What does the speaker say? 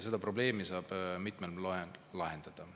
Seda probleemi saab mitmel moel lahendada.